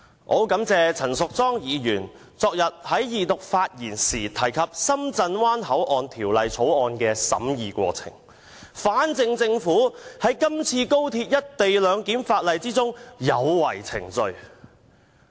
我很感謝陳淑莊議員昨天發言時提及《深圳灣口岸港方口岸區條例草案》的審議過程，反證政府在今次《條例草案》的審議有違程序。